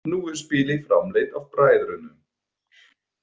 Nú er spilið framleitt af bræðrunum.